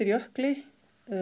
jökli